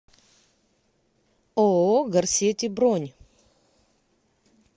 ооо горсети бронь